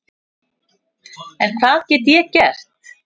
En hvað get ég gert?